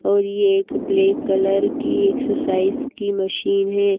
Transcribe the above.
और ये एक ब्लैक कलर की एक्सरसाइज की मशीन है।